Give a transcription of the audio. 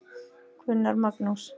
Gunnar Magnús.